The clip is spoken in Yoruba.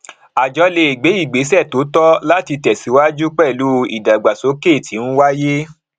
àjọ lè gbé ìgbésẹ tó tọ láti tẹsíwájú pẹlú ìdàgbàsókè tí ń wáyé